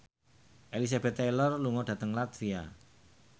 Elizabeth Taylor lunga dhateng latvia